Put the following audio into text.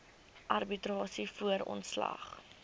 arbitrasie voor ontslag